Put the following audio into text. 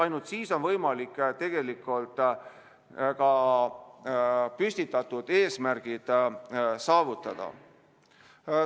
Ainult siis on võimalik ka tegelikult püstitatud eesmärgid saavutada.